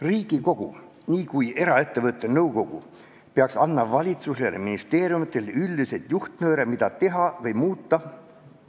Riigikogu nii kui eraettevõtte nõukogu peaks andma valitsusele, ministeeriumitele üldiseid juhtnööre, mida teha või muuta.